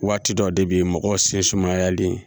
Waati dɔw de bɛ ye mɔgɔw se sumayalen